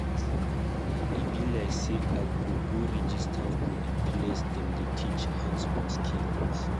E be like sey I go go register for di place dem dey teach hands-on skills.